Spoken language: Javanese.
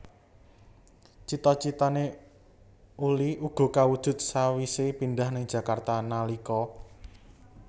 Cita citané Uli uga kawujud sawise pindah ing Jakarta nalika